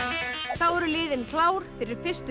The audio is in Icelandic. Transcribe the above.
þá eru liðin klár fyrir fyrstu